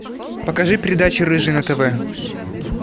покажи передачу рыжий на тв